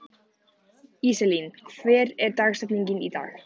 Íselín, hver er dagsetningin í dag?